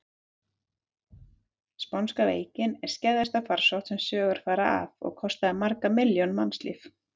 Spánska veikin er skæðasta farsótt sem sögur fara af og kostaði margar milljónir mannslífa.